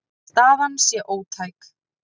Staðan sé ótæk.